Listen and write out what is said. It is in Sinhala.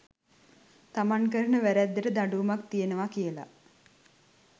තමන් කරන වැරැද්දට දඩුවමක් තියෙනවා කියල